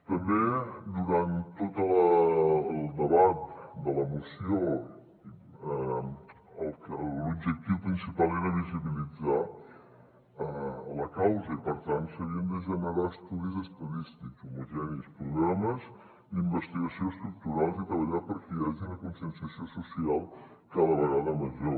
també durant tot el debat de la moció l’objectiu principal era visibilitzar la causa i per tant s’havien de generar estudis estadístics homogenis programes d’investigació estructurals i treballar perquè hi hagi una conscienciació social cada vegada major